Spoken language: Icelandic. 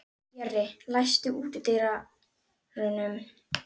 Jörri, læstu útidyrunum.